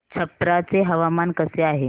छप्रा चे हवामान कसे आहे